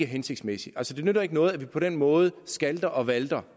hensigtsmæssigt altså det nytter ikke noget at vi på den måde skalter og valter